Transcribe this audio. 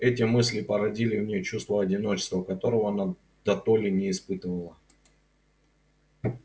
эти мысли породили в ней чувство одиночества которого она дотоле не испытывала